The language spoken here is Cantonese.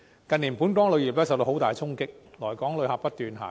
近年，本港旅遊業受到很大衝擊，來港旅客不斷下降。